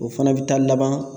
O fana be taa laban